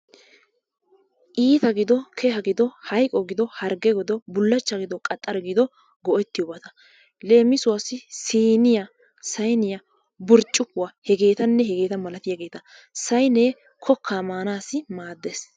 Iita gido, keha gido, hayiqo gido, hargge gido, bullachcha gido, qaxxara gido go'ettiyobata. Leemisuwassi siiniya, sayiniya, burccukkuwa hegeetanne hegeeta malatiyageeta. Sayinee kokkaa maanaassi maaddes.